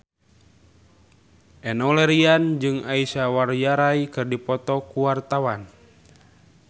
Enno Lerian jeung Aishwarya Rai keur dipoto ku wartawan